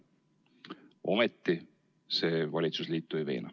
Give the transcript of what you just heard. Ometi see valitsusliitu ei veena.